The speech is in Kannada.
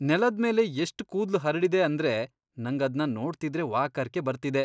ನೆಲದ್ಮೇಲೆ ಎಷ್ಟ್ ಕೂದ್ಲು ಹರ್ಡಿದೆ ಅಂದ್ರೆ ನಂಗದ್ನ ನೋಡ್ತಿದ್ರೆ ವಾಕರ್ಕೆ ಬರ್ತಿದೆ.